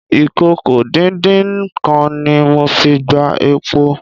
ìkòkò-díndín-nǹkan ni mo fi gbá epo.